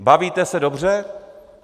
Bavíte se dobře?